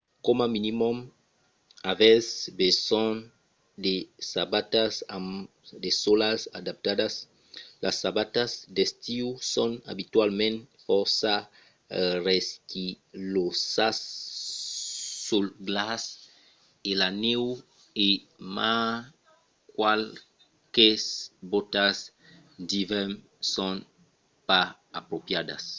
coma minimum avètz besonh de sabatas amb de sòlas adaptadas. las sabatas d’estiu son abitualament fòrça resquilhosas sul glaç e la nèu e mai qualques bòtas d’ivèrn son pas apropriadas